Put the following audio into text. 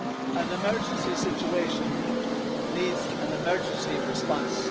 An emergency situation needs an emergency response.